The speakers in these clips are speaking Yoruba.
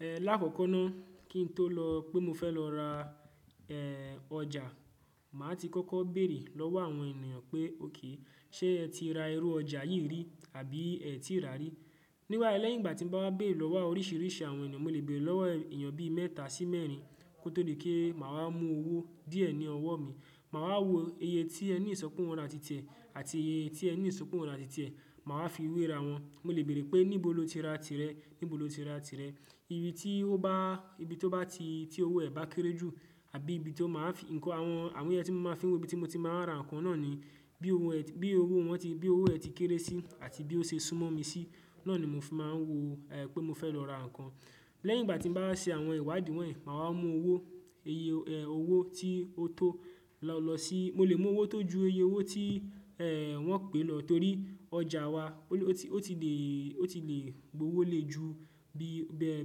Lákòókò náà kí n tó lọ pé mo fẹ́ lọ ra ọjà, màá ti kọ́kọ́ bèrè lọ́wọ́ àwọn ènìyàn pé okè ṣe ẹ ti ra irú ọjà yìí rí àbí ẹ ti rà rí. Nígbà tí mo bá bèrè lọ́wọ́ oríṣìíríṣìí àwọn ènìyàn, mo lè bèrè lọ́wọ́ ènìyàn bí mẹ́ta sí mẹ́rin kó tó lè kí màá mú owó díẹ̀ ní ọwọ́ mi. Màwa wò iye tí ẹni ìsọpọ̀ wọn ra ti tẹ àti iye tí ẹni ìsọpọ̀ wọn ra ti tẹ. Màwá fi wé ra wọn. Mo lè bèrè pé níbo lo ti ra tirẹ̀, níbo lo ti ra tirẹ̀. Ibi tí ó bá, ibi tó bá ti, tí owó ẹ bá kéré jù àbí ibi tó máa fi, nǹkan àwọn, àwọn iye tí mo máa fi wo ibi tí mo ti máa ra nǹkan náà ni bí owó ẹ ti kéré sí àti bí ó ṣe súnmọ́ mi sí. Náà ni mo fi máa ń wo pé mo fẹ́ lọ ra nǹkan. Lẹ́yìn ìgbà tí mo bá ṣe àwọn ìwádìí wọ̀nyí, màwá mú owó, iye owó tí ó tó lọ sí, mo lè mú owó tó ju iye owó tí wọ́n pè lọ torí ọjà wa ó ti lè gbowó lè ju bẹ́ẹ̀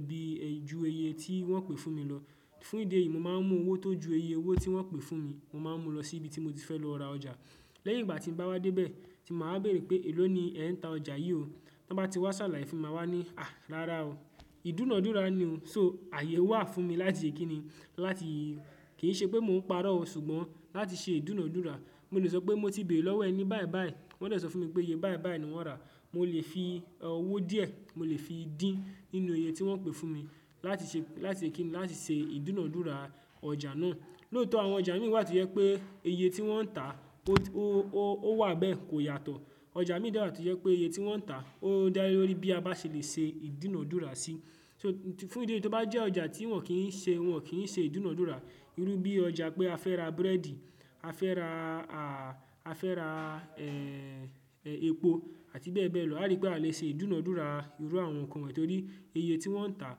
bí ju iye tí wọ́n pè fún mi lọ. Fún ìdí èyí, mo máa ń mú owó tó ju iye owó tí wọ́n pè fún mi, mo máa ń mú lọ sí ibi tí mo ti fẹ́ lọ ra ọjà. Lẹ́yìn ìgbà tí mo bá wá dé bẹ́ẹ̀ tí mà wá bèrè pé èló ni ẹ ń ta ọjà yí o. Tí wọ́n bá ti wá ṣàlàyé fún mi, màá wí ní à rárá o, ìdúnadúrà ni o. So àyè wà fún mi láti ṣe kí ni, láti, kì í ṣe pé mò ń parọ́ o ṣùgbọ́n láti ṣe ìdúnadúrà. Mo lè sọ pé mo ti bèrè lọ́wọ́ ẹni báyìí báyìí, wọ́n dẹ̀ sọ fún mi pé iye báyìí báyìí ni wọ́n rà. Mo lè fi owó díẹ̀, mo lè fi dín nínú iye tí wọ́n pè fún mi láti ṣe, láti ṣe kí ni, láti ṣe ìdúnadúrà ọjà náà. Lóòtọ́ àwọn ọjà imi wà tó jẹ́ pé iye tí wọ́n ń tà ó wà bẹ́ẹ̀ kò yàtọ̀. Ọjà imi dẹ̀ wà tó jẹ́ pé iye tí wọ́n ń tà ó dá lé lórí bí a bá ṣe lè ṣe ìdúnadúrà sí. So fún ìdí èyí tó bá jẹ́ ọjà tí wọ́n kì í ṣe, wọ́n kì í ṣe ìdúnadúrà. Irú bí ọjà pé a fẹ́ ra búrẹ́dì, a fẹ́ ra, a fẹ́ ra epo àti bẹ́ẹ̀ bẹ́ẹ̀ lọ. A rí pé a lè ṣe ìdúnadúrà irú àwọn nǹkan yìí torí iye tí wọ́n ń tà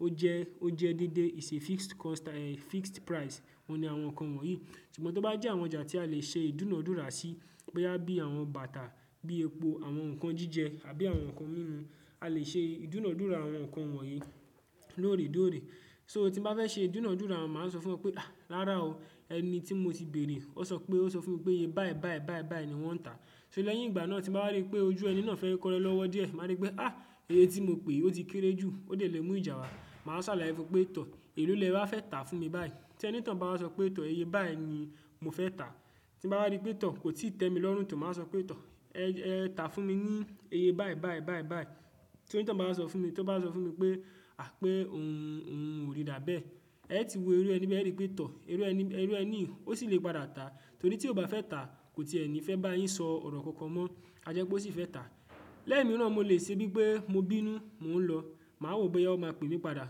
ó jẹ́, ó jẹ́ dídé, ìṣe fixed cost, fixed price. Ó ní àwọn nǹkan wọ̀nyí. Ṣùgbọ́n tó bá jẹ́ àwọn ọjà tí a lè ṣe ìdúnadúrà sí bó yá bí àwọn bàtà bí i epo, àwọn nǹkan jíjẹ àbí àwọn nǹkan míràn. A lè ṣe ìdúnadúrà àwọn nǹkan wọ̀nyí lóòrè dóòrè. So tí bá fẹ́ ṣe ìdúnadúrà, màá sọ fún wọn pé à rárá o, ẹni tí mo ti bèrè ó sọ pé, ó sọ fún mi pé iye báyìí báyìí báyìí báyìí ni wọ́n ń tà. So lẹ́yìn ìgbà náà tí n báwa rí pé ojú ẹni náà fẹ́ kọrẹ́ lọ́wọ́ díẹ̀, màá rí pé à iye tí mo pè ó ti kéré jù, ó dẹ̀ lè mú ìjà wá. Màá ṣàlàyé fún un pé tọ̀ èló lèwa fẹ́ tà fún mi báyìí. Tí ẹni toun bá sọ pé tọ̀ iye báyìí ni mo fẹ́ tà. Tí m bá rí pé tọ̀ kò tíì tẹ́ mi lọ́rùn tò má sọ pé tọ̀ ẹ tà fún mi ní iye báyìí báyìí báyìí báyìí. Tí o ni to un bá wa sọ fún mi, tí wọ́n bá sọ fún mi pé à pé òun ò rí dà bá ẹ. Ẹ ti wo irú ẹni bí ẹ rí pé tọ̀. Irú ẹni, irú ẹni òṣì lè padà tà torí tí ó bá fẹ́ tà kò ti ẹni fẹ́ bá yín sọ ọ̀rọ̀ kankan mọ́. A jẹ́ pé ó sì fẹ́ tà. Lẹ́ẹ̀mi náà mo lè ṣe bí i pé mo bínú mò ń lọ. Màá wò bó yá ó máa pè mi padà.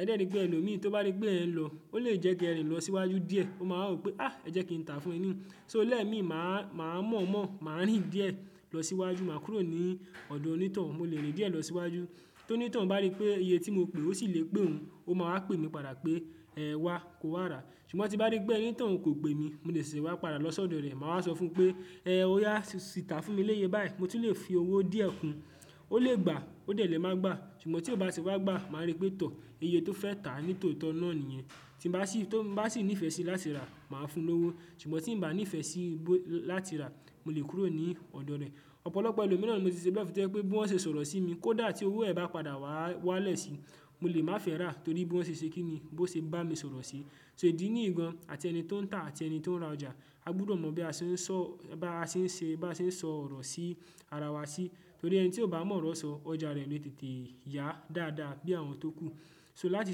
Ẹ̀dẹ̀ ẹ̀ní pé ẹlòmíì tí ó bá rí pé ẹ̀ ń lọ ó lè jẹ́ kí ẹ rìn lọ síwájú díẹ̀. Ó máa wò pé à ẹ jẹ́ kí n tà fún ẹ ni. So lẹ́ẹ̀mi màá mọ̀ mọ̀, màá rìn díẹ̀ lọ síwájú, màá kúrò ní ọ̀dọ̀ oni to oun, mo lè rìn díẹ̀ lọ síwájú. To ni t oun bá rí pé iye tí mo pè ó sì lè pẹ́ òun, ó máa pè mi padà pé wá ko wà rà. Ṣùgbọ́n tí bá rí pé ẹni to oun kò pè mi, mo lè ṣe wá padà lọ sọ́dọ̀ rẹ̀. Mà wá sọ fún un pé ẹ ó yá sì tà fún mi léye báyìí, mo ti lè fi owó díẹ̀ kun. Ó lè gbà ó dẹ̀ lè máa gbà. Ṣùgbọ́n tí ó bá tì wá gbà, màá rí pé tọ̀ iye tó fẹ́ tà ní tòótọ́ náà nìyẹn. Tí mo bá sì, tí mo bá sì nífẹ̀ẹ́ sí láti rà, màá fún un lówó. Ṣùgbọ́n tí ń bá nífẹ̀ẹ́ sí láti rà, mo lè kúrò ní ọ̀dọ̀ rẹ̀. Ọ̀pọ̀lọpọ̀ ẹlòmíì ran mo ti ṣe bẹ́ẹ̀ fún tí ẹ pé bí wọ́n ṣe sọ̀rọ̀ sí mi kó dà tí owó ẹ̀ bá padà wá wálẹ̀ sí, mo lè má fẹ́ rà torí bí wọ́n ṣe ṣe kí ni, bí wọ́n ṣe bá mi sọ̀rọ̀ sí. So ìdí nìyí gan an àti ẹni tó ń tà àti ẹni tó ń ra ọjà, a gbúdọ̀ mọ bí a ṣe ń sọ, bá ṣe ń ṣe, bá ṣe ń sọ ọ̀rọ̀ sí ara wa sí torí ẹni tí ó bá mọ̀ ọ̀rọ̀ sọ ọjà rẹ̀ lè tètè yà dáadáa bí àwọn tó kú. So láti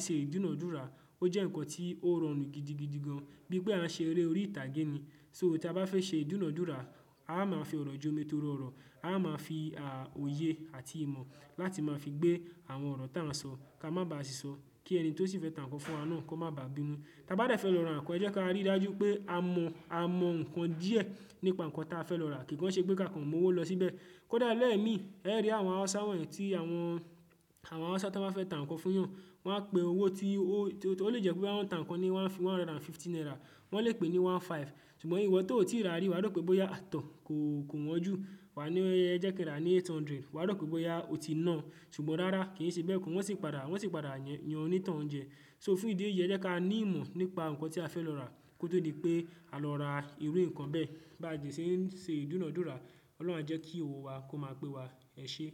ṣe ìdúnadúrà ó jẹ́ nǹkan tí ó rọrùn gidigidi gan an bíi pé a ṣe eré orí ìtàgé ni. So tí a bá fẹ́ ṣe ìdúnadúrà, a máa fi ọ̀rọ̀ jómi torí ọ̀rọ̀, a máa fi òye àti ìmọ̀ láti máa fi gbé àwọn ọ̀rọ̀ tá ń sọ ká má ba à ṣìsọ kí ẹni tí ó sì fẹ́ tà nǹkan fún wa náà kó má bá bí mú. Ta bá dẹ̀ fẹ́ lọ ra nǹkan, ẹ jẹ́ ká rí dájú pé a mọ, a mọ nǹkan díẹ̀ nípa nǹkan tí a fẹ́ lọ rà. Kì kan ṣe pé ká kan mowó lọ síbẹ̀. Kódà lẹ́ẹ̀mi ẹ rí àwọn hausa won yi tí àwọn, àwọn hausa tí wọ́n bá fẹ́ tà nǹkan fún wọn, wọ́n á pè owó tí ó lè jẹ́ pé bí wọ́n ń tà nǹkan ni wọ́n á fi one hundred and fifty naira. Wọ́n lè pè ní one five. Ṣùgbọ́n ìwọ tó ò tíì rà rí, wà á rò pé bóyá tọ̀ kò wọ́n jù. Wa ní ẹ jẹ́ kí a rà ní eight hundred. Wa rò pé bóyá ó ti náà. Ṣùgbọ́n rárá kì í ṣe bẹ́ẹ̀ kù. Wọ́n sì padà, wọ́n sì padà yan oni to un ń jẹ. So fún ìdí èyí jẹ́ ká ní ìmọ̀ nípa nǹkan tí a fẹ́ lọ rà kó tó di pé á lọ ra irú nǹkan bẹ́ẹ̀ bá à jẹ ṣe ń ṣe ìdúnadúrà. Ọlọ́run a jẹ́ kí owó wa kó máa pé wa. Ẹ ṣé.